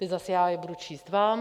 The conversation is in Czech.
Teď zase já je budu číst vám.